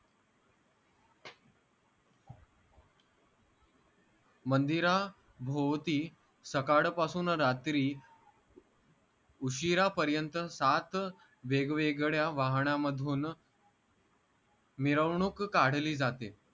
मंदिराभोवती सकाळपासून रात्री उशिरा पर्यंत सात वेगवेगड्या वाहणामधून मिरवणूक काढली जाते